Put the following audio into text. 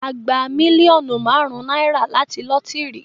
A gbà mílíọ̀nù márùn náírà láti lotiri